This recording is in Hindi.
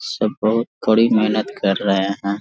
सब बहुत कड़ी मेहनत कर रहे हैं।